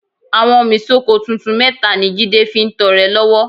Àwọ́nmi sóko tuntun mẹ́ta ni Jídé fi ń tọrẹ lọ́wọ́